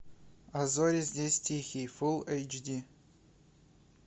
а зори здесь тихие фулл эйч ди